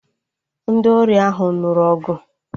Ndị ori ahụ nụrụ ọgụ